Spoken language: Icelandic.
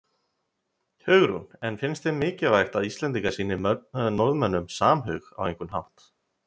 Hugrún: En finnst þér mikilvægt að Íslendingar sýni Norðmönnum samhug á einhvern hátt?